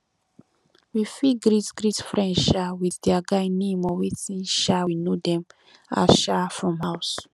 we fit greet greet friend um with their guy name or wetin um we know dem as um from house